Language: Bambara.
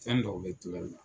Fɛn dɔw bɛ tila i la.